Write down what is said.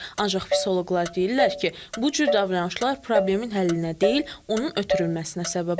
Ancaq psixoloqlar deyirlər ki, bu cür davranışlar problemin həllinə deyil, onun ötürülməsinə səbəb olur.